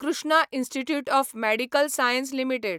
Krishna institute of medical science limited